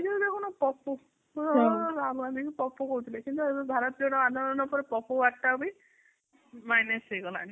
ଏ ଯୋଉ ଦେଖୁନୁ ପପୁ କିଛି ଲୋକ ରାହୁଲ ଗାନ୍ଧୀକୁ ପପୁ କହୁଥିଲି କିନ୍ତୁ ଭାରତର ଆନ୍ଦୋଳନ ପରେ ପପୁ word ଟା ବି minus ହେଇଗଲାଣି